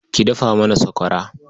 Ki dafa mana sakwara.